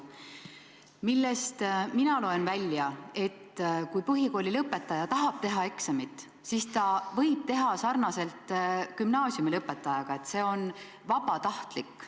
Mina loen sellest välja, et kui põhikoolilõpetaja tahab eksamit teha, siis võib ta seda teha sarnaselt gümnaasiumilõpetajaga – see on lihtsalt vabatahtlik.